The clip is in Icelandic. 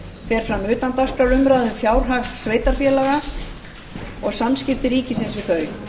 fer fram utandagskrárumræða um fjárhag sveitarfélaga og samskipti ríkisins við þau